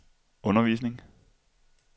undervisning